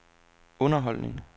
underholdning